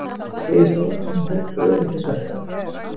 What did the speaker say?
Segir stóran hóp öryrkja svelta